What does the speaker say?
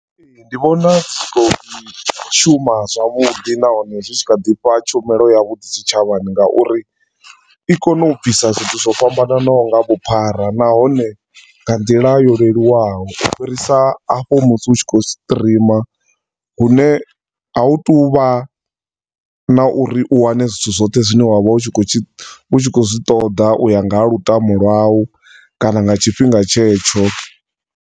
Ee, ndi vhona zwi kho ḓi shuma zwavhuḓi nahone zwi tshi kha ḓi fha tshumelo yavhuḓi tshitshavhani nga uri i kona u bvisa zwithu zwo fhambananaho nga vhuphara nahone nga nḓila yo leluwaho ufhirisa hafho musi u tshi khou stream hune a hu tu vha na uri u wane zwithu zwoṱhe zwine wa vha u tshi kho, u tshi khou zwi ṱoḓa u ya nga ha lutamo lwau kana nga tshifhinga tshetsho.